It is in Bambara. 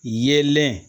Yelen